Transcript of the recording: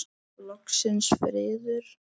Loksins friður!